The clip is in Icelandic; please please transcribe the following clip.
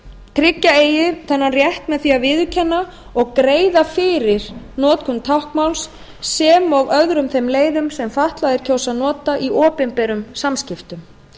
tryggja eigi þennan rétt með því að viðurkenna og greiða fyrir notkun táknmáls sem og öðrum þeim leiðum sem fatlaðir kjósa að nota í opinberum samskiptum